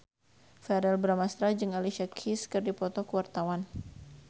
Verrell Bramastra jeung Alicia Keys keur dipoto ku wartawan